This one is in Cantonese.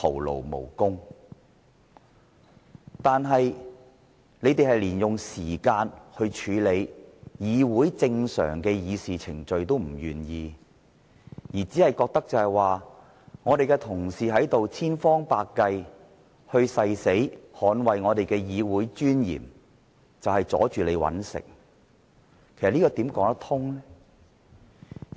然而，建制派連用時間來處理議會正常的議事程序也不願意，只覺得民主派議員千方百計、誓死捍衞議會的尊嚴就是阻礙他們謀生，這怎可以說得過去？